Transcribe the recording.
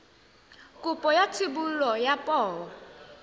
kopo ya thebolo ya poo